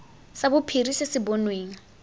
sa bophiri se se bonweng